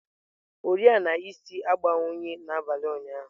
Oriọna isi agbanwughị n'abalị ụnyahụ.